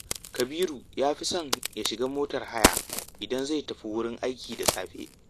Kabiru ya fi son ya shiga motar haya, idan zai tafi wurin aiki da safe